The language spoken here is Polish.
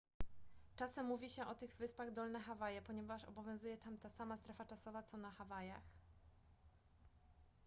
czasem mówi się o tych wyspach dolne hawaje ponieważ obowiązuje tam ta sama strefa czasowa co na hawajach